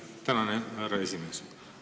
Tänan, härra esimees!